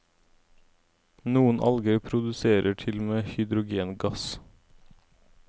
Noen alger produserer til og med hydrogengass.